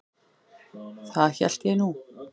Það hélt ég nú.